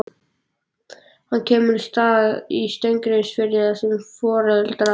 Hann kemur að Stað í Steingrímsfirði þar sem foreldrar